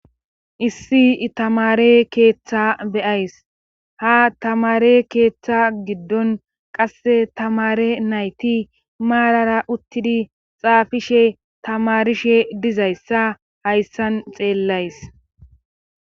Issi itamare keeththa beyays ha tamare keeththa giddon qasse tamare nayti maarara uttidi xaafishe tamarishe dizayssa hayssan xeellays